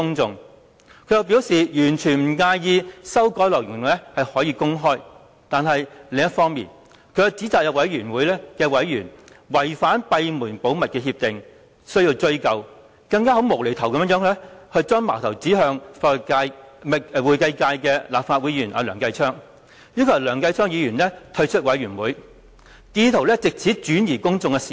他又表示完全不介意公開修改內容，但卻指責有專責委員會委員違反閉門會議的保密協定，明言要追究，更"無厘頭"地把矛頭指向會計界的立法會議員梁繼昌，要求他退出專責委員會，意圖轉移公眾視線。